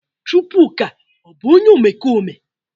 Chukwuka o bu onye omekome?